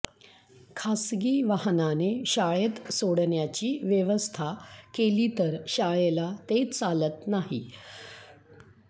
खासगी वाहनाने शाळेत सोडण्याची व्यवस्था केली तर शाळेला ते चालत नाही